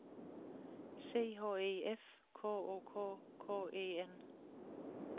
C H E F K O K K E N